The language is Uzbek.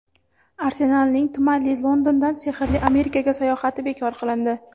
"Arsenal"ning tumanli Londondan sehrli Amerikaga sayohati bekor qilindi.